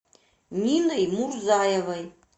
ниной мурзаевой